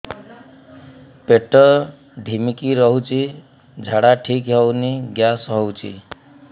ପେଟ ଢିମିକି ରହୁଛି ଝାଡା ଠିକ୍ ହଉନି ଗ୍ୟାସ ହଉଚି